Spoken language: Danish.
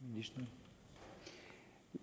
vi